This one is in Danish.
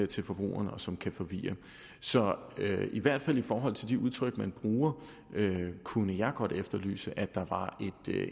til forbrugerne og som kan forvirre så i hvert fald i forhold til de udtryk man bruger kunne jeg godt efterlyse at der var